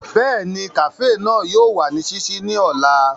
Bẹ́ẹ̀ni, kafee náà yóò wa ni ṣiṣii ni ọla.